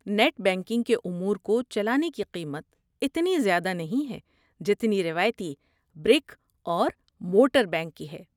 Net banking کے امور کو چلانے کی قیمت اتنی زیادہ نہیں ہے جتنی روایتی برک اور مورٹر بینک کی ہے۔